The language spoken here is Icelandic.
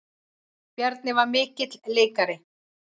Bjarni var mikill leikari.